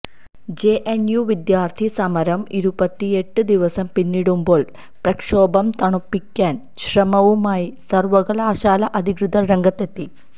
J N U വിദ്യാർത്ഥി സമരം ഇരുപത്തിയെട്ട് ദിവസം പിന്നിടുമ്പോള് പ്രക്ഷോഭം തണുപ്പിക്കാൻ ശ്രമവുമായി സർവ്വകലാശാല അധികൃതർ രംഗത്തെത്തി